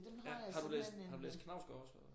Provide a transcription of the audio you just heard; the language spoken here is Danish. Har du læst har du læst Knausgaard også?